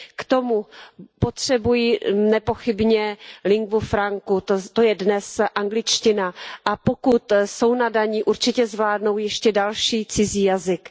K tomu potřebují nepochybně linguu francu, to je dnes angličtina, a pokud jsou nadaní, určitě zvládnou ještě další cizí jazyk.